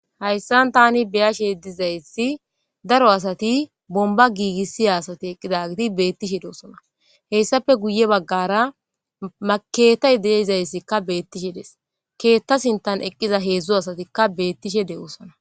Hayissani tani beàashe dizayisi darro assayi bonibba gigisiya assati betesi ettappe guye bagara ma kethayi deèzayisi betesi. Ketha sinithani eqida hedzu asatika betesi.